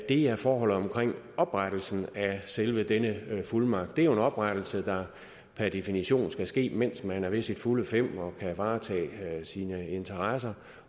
er forholdet omkring oprettelsen af selve denne fuldmagt det er jo en oprettelse der per definition skal ske mens man er ved sine fulde fem og kan varetage sine interesser